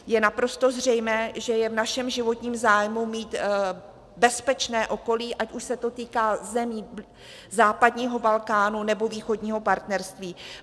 Je naprosto zřejmé, že je v našem životním zájmu mít bezpečné okolí, ať už se to týká zemí západního Balkánu, nebo východního partnerství.